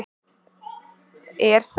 Er þá